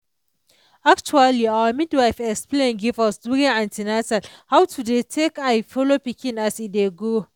actually our midwife explain give us during an ten atal how to dey take eye follow pikin as e dey grow.